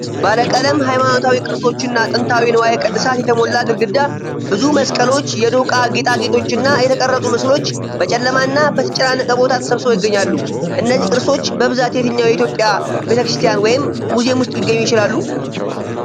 ባለቀለም ሃይማኖታዊ ቅርሶች እና ጥንታዊ ንዋየ ቅድሳት የተሞላ ግድግዳ። ብዙ መስቀሎች፣ የዶቃ ጌጣጌጦች እና የተቀረጹ ምስሎች በጨለማና በተጨናነቀ ቦታ ተሰብስበው ይገኛሉ። እነዚህ ቅርሶች በብዛት የትኛው የኢትዮጵያ ቤተክርስቲያን ወይም ሙዚየም ውስጥ ሊገኙ ይችላሉ?